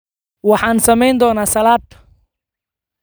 Waxaan samayn doonaa salad.